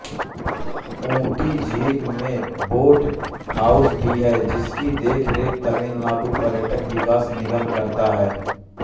ऊटी झील में boat house भी है जिसकी देखरेख तमिलनाडु पर्यटन विकास निगम करता है